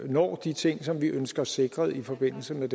når de ting som vi ønsker sikret i forbindelse med